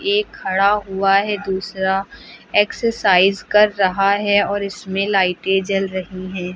एक खड़ा हुआ है दूसरा एक्सरसाइज कर रहा है और इसमें लाइटें जल रही है।